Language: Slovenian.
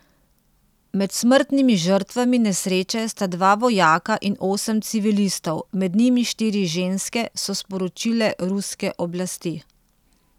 Med smrtnimi žrtvami nesreče sta dva vojaka in osem civilistov, med njimi štiri ženske, so sporočile ruske oblasti.